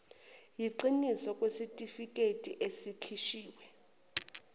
yiqiniso kwesitifiketi esikhishiwe